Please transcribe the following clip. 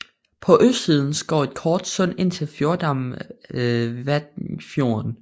På østsiden går et kort sund ind til fjordarmen Vatnfjorden